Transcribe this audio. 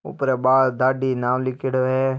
ऊपर बाल दाढ़ी नाम लिख्योड़ो है।